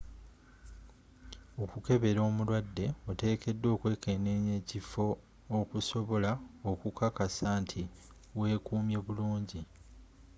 okukebera omulwadde oteekeddwa okwekkeneenya ekifo okusobola okukakasa nti wekumye bulungi